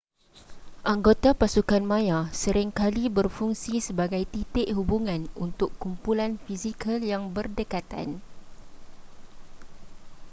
anggota pasukan maya sering kali berfungsi sebagai titik hubungan untuk kumpulan fizikal yang berdekatan